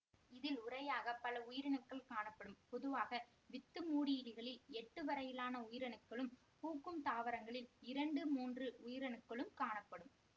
இதில் உறையாக பல உயிரணுக்கள் காணப்படும் பொதுவாக வித்துமூடியிலிகளில் எட்டு வரையிலான உயிரணுக்களும் பூக்கும் தாவரங்களில் இரண்டு மூன்று உயிரணுக்களும் காணப்படும்